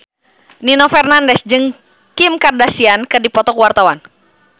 Nino Fernandez jeung Kim Kardashian keur dipoto ku wartawan